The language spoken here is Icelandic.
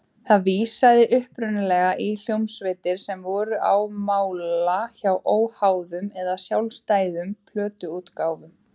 Það vísaði upprunalega í hljómsveitir sem voru á mála hjá óháðum eða sjálfstæðum plötuútgáfum.